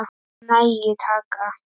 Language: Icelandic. Af nægu er að taka!